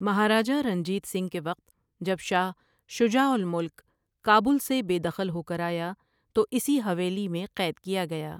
مہاراجا رنجیت سنگھ کے وقت جب شاہ شجاع الملک کابل سے بے دخل ہو کر آیا تو اسی حویلی میں قید کیا گیا ۔